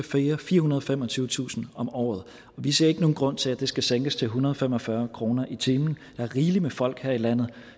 firehundrede og femogtyvetusind om året og vi ser ikke nogen grund til at det skal sænkes til en hundrede og fem og fyrre kroner i timen der er rigelig med folk her i landet